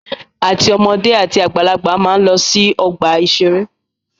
Àti ọmọdé àti àgbàlagbà máa ń lọ sí ọgbà-ìṣeré